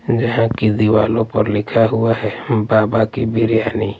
जहां की दीवालों पर लिखा हुआ है बाबा की बिरयानी।